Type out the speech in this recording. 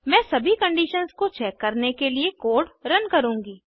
मैं सभी कंडिशन्स को चेक करने के लिए कोड रन करूँगी